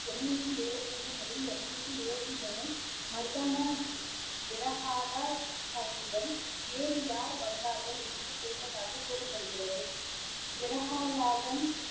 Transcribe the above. இருநூத்தி இருவத்தி ரெண்டு முதல் இருநூத்தி இருவத்தி மூணு வேறு யார் வந்தார்கள் என்று கேட்டதாக கூறபடுகிறது